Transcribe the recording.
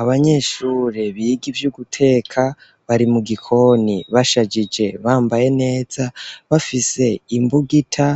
Abanyeshure biga ivyo guteka bari mu gikoni bashajije bambaye neza bafise imbugita